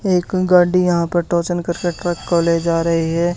एक गड्डी यहां पर टोचन कर के ट्रक को ले जा रही है।